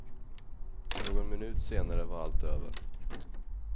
Någon minut senare var allt över.